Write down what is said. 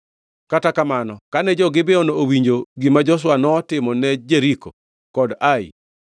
Kata kamano, kane jo-Gibeon owinjo gima Joshua notimone Jeriko kod Ai,